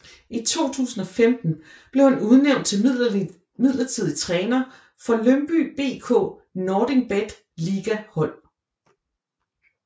I 2015 blev han udnævnt til midlertidig træner for Lyngby BK NordicBet Liga hold